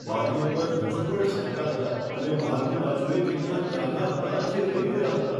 બારીઓ પર હજુ પણ છાંટા હતાં અને બહારની બાજુએ કેટલાક ડાઘા હતાં, જે રહી ગયા હતા.